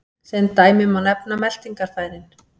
Sem dæmi má nefna meltingarfærin.